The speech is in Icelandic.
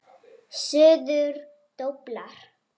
Suður doblar.